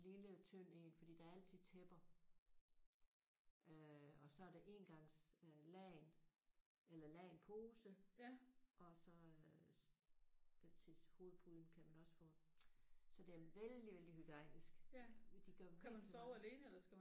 En lille tynd en fordi der er altid tæpper øh og så er det engangslagen eller lagenpose og så øh til hovedpuden kan man også få en. Så det er vældig vældig hygiejnisk. De gør virkelig meget ud